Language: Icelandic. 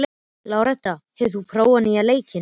Láretta, hefur þú prófað nýja leikinn?